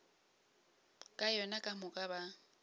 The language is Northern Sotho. ka yona ka moka ba